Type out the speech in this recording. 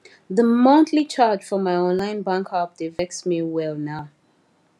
the monthly charge for my online bank app dey vex me well now